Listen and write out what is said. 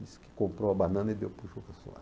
Disse que comprou a banana e deu para o